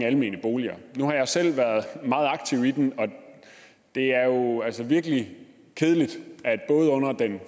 almene boliger nu har jeg selv været meget aktiv i den og det er jo altså virkelig kedeligt at det både under den